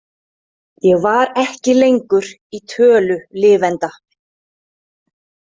Ég var ekki lengur í tölu lifenda.